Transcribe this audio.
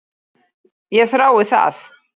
Ég þrái það.